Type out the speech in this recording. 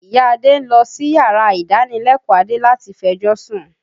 Ìya Adé ń lọ síyàrá ìdánilẹ́kọ̀ọ́ Adé láti fẹjọ́sún